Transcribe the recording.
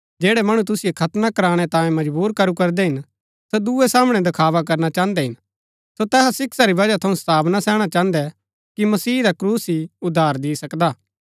जैड़ै मणु तुसिओ खतना करनै तांये मजबुर करू करदै हिन सो दूये सामणै दखावा करना चाहन्दै हिन सो तैहा शिक्षा री वजह थऊँ सताव ना सैहणा चाहन्दै कि मसीह रा क्रूस ही उद्धार दी सकदा हा